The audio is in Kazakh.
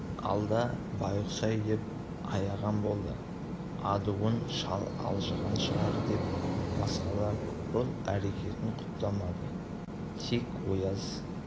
алда байғұс-ай деп аяған болды адуын шал алжыған шығар деп басқалар бұл әрекетін құптамады тек ояз